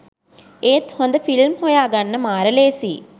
ඒත් හොඳ ෆිල්ම් හොයාගන්න මාර ලේසියි